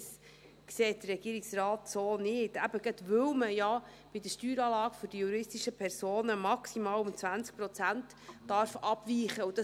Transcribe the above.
Dies sieht der Regierungsrat so nicht, und zwar genau deshalb, weil man bei der Steueranlage der juristischen Personen maximal um 20 Prozent abweichen darf.